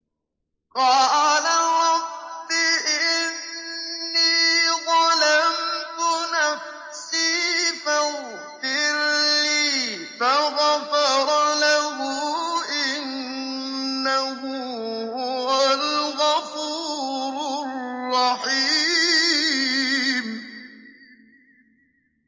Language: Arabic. قَالَ رَبِّ إِنِّي ظَلَمْتُ نَفْسِي فَاغْفِرْ لِي فَغَفَرَ لَهُ ۚ إِنَّهُ هُوَ الْغَفُورُ الرَّحِيمُ